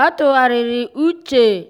ọ́ tụ́gharị́rị́ úchè ọ́ tụ́gharị́rị́ úchè